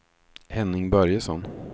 Henning Börjesson